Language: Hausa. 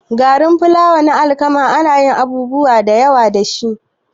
Garin fulawa na alkama anayin abubuwa dayawa dashi